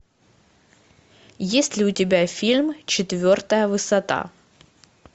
есть ли у тебя фильм четвертая высота